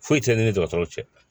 Foyi tɛ ne ni dɔgɔtɔrɔ cɛ